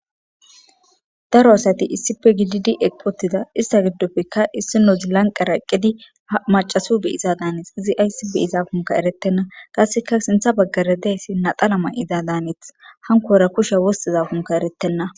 Daro asati issife gididi eqpotida ista giddopfekka issino zilanqara eqqedi macaso be iza daaneet izi aysi be izafunka eretenna qasseka sintha baggara dayssi naxalama'iza daaneeth hankora kusha wostiza funka eretenna.